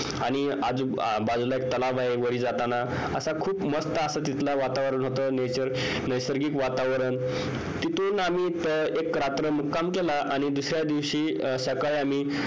आणि आजूबाजूला एक तलाव आहे वारी जाताना असा मस्त असं तिथलं वातावरण होत nature नैसर्गिक वातावरण तिथून आम्ही एक रात्र मुक्काम केला आणि दुसऱ्या दिवशी सकाळी आम्ही